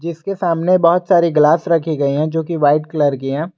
इसके सामने बहुत सारे ग्लास रखी गई है जोकि वाइट कलर की हैं।